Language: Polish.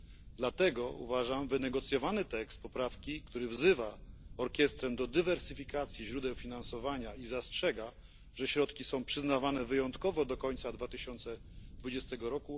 Z tego względu uważam, że wynegocjowany tekst poprawki, który wzywa Orkiestrę do dywersyfikacji źródeł finansowania i zastrzega, że środki są przyznawane wyjątkowo do końca 2020 r.,